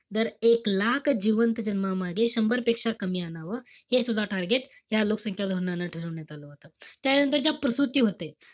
दर एक लाख जिवंत जन्मामागे शंभरपेक्षा कमी आणावं. हे सुद्धा target त्या लोकसंख्या धोरणानं ठरवण्यात आलं होतं. त्यानंतरच्या प्रसूती होते.